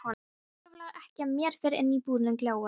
Það hvarflar ekki að mér fyrr en íbúðin gljáir.